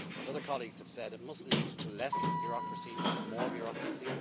As other colleagues have said, it must lead to less bureaucracy, not more bureaucracy.